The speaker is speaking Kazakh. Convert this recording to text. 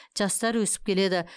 жастар өсіп келеді